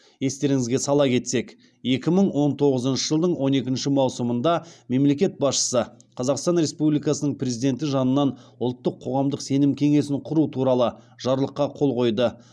естеріңізге сала кетсек екі мың он тоғызыншы жылдың он екінші маусымында мемлекет басшысы қазақстан республикасының президенті жанынан ұлттық қоғамдық сенім кеңесін құру туралы жарлыққа қол қойды